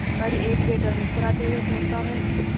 पर एक वेटर मुस्कुराते हुए पूछता है